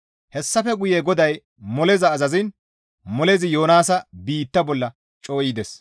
Hessafe guye GODAY moleza azaziin molezi Yoonaasa biitta bolla cooyides.